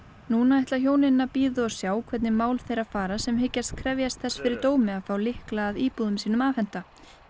núna ætla hjónin að bíða og sjá hvernig mál þeirra fara sem hyggjast krefjast þess fyrir dómi að fá lykla að íbúðum sínum afhenta